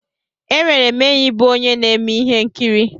Enwere m enyi bụ onye na-eme ihe nkiri.